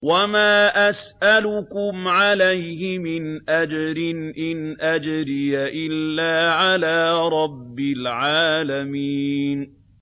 وَمَا أَسْأَلُكُمْ عَلَيْهِ مِنْ أَجْرٍ ۖ إِنْ أَجْرِيَ إِلَّا عَلَىٰ رَبِّ الْعَالَمِينَ